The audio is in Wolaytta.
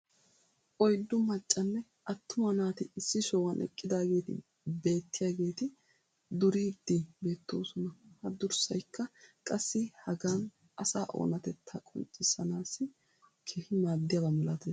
oyddu maccanne attuma naati issi sohuwan eqqidaageeti beetiyaageetti duriidi beetoosona. ha durssaykka qassi hagan asaa oonatettaa qonccissanaassi keehi maadiyaaba malattees.